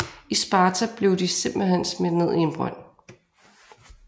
I Sparta blev de simpelthen smidt ned i en brønd